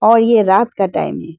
और ये रात का टाइम है।